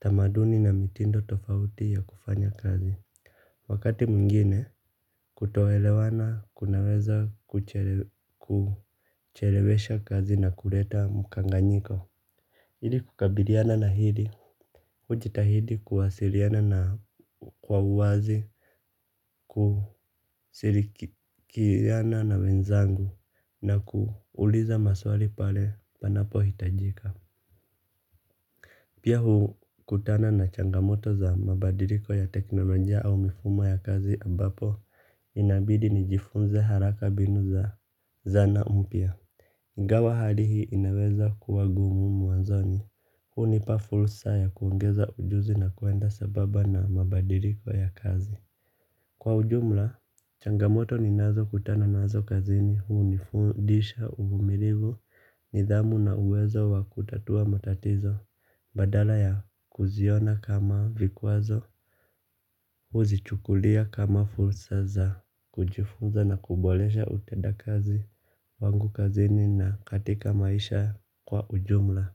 Tamaduni na mitindo tofauti ya kufanya kazi. Wakati mwingine kutoelewana kunaweza kuchelewesha kazi na kuleta mkanganyiko. Ili kukabiliana na hili, hujitahidi kuwasiliana nao kwa uwazi, kusirikiana na wenzangu na kuuliza maswali pale panapo hitajika. Pia hukutana na changamoto za mabadiriko ya teknolojia au mifumo ya kazi abapo inabidi nijifunze haraka binu za zana mpya. Ingawa hali hii inaweza kuwa gumu mwanzoni, hunipa fulsa ya kuongeza ujuzi na kuenda sababa na mabadiliko ya kazi. Kwa ujumla, changamoto ninazo kutana nazo kazini, hunifundisha uvumirivu, nidhamu na uwezo wa kutatua matatizo, badala ya kuziona kama vikwazo, huzichukulia kama fulsa za kujifunza na kubolesha uteda kazi, wangu kazini na katika maisha kwa ujumla.